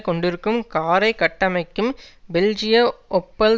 கொண்டிருக்கும் காரை கட்டமைக்கும் பெல்ஜிய ஒப்பல்